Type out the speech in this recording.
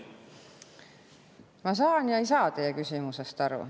Ma saan ja ei saa teie küsimusest aru.